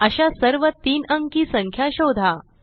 अशा सर्व 3 अंकी संख्या शोधा